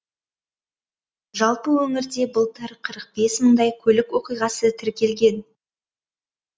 жалпы өңірде былтыр қырық бес мыңдай көлік оқиғасы тіркелген